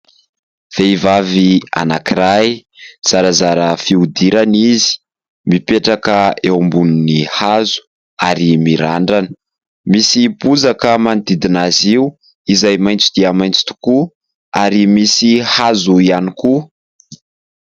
Vehivavy anankiray zarazara fihodirana izy, mipetraka eo ambony hazo ary mirandrana. Misy bozaka manodidina azy io izay maitso dia maitso tokoa ary misy hazo ihany koa.